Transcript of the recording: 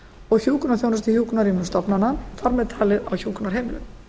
og hjúkrunarþjónustu í hjúkrunarrýmum stofnana þar með talið á hjúkrunarheimilum